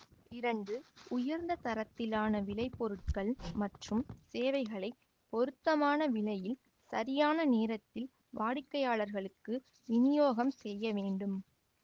இரண்டு உயர்ந்த தரத்திலான விளைபொருட்கள் மற்றும் சேவைகளைப் பொருத்தமான விலையில் சரியான நேரத்தில் வாடிக்கையாளருக்கு விநியோகம் செய்ய வேண்டும்